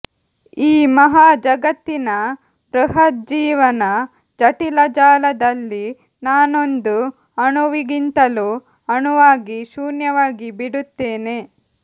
ಈ ಮಹಾ ಜಗತ್ತಿನ ಬೃಹಜ್ಜೀವನ ಜಟಿಲಜಾಲದಲ್ಲಿ ನಾನೊಂದು ಅಣುವಿಗಿಂತಲೂ ಅಣುವಾಗಿ ಶೂನ್ಯವಾಗಿ ಬಿಡುತ್ತೇನೆ